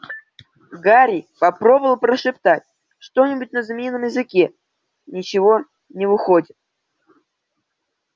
гарри попробовал прошептать что-нибудь на змеином языке ничего не выходит